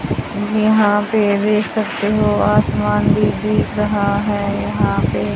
यहां पे देख सकते हो आसमान भी दिख रहा है यहां पे--